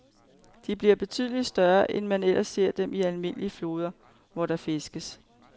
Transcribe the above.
De bliver betydeligt større, end man ellers ser dem i almindelige floder, hvor der fiskes.